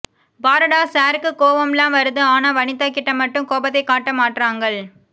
பாருடா சார் க்கு கோவம்லாம் வருது ஆனா வனிதா கிட்ட மட்டும் கோபத்தை காட்ட மாற்றங்கள்